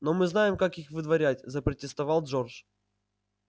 но мы знаем как их выдворять запротестовал джордж